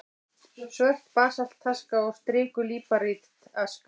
Svört basaltaska og strikuð líparítaska.